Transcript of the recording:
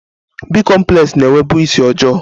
Bị́komplex na-enwebu isi ọjọọ